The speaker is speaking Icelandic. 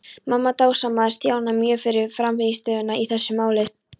Mamma dásamaði Stjána mjög fyrir frammistöðuna í þessu máli.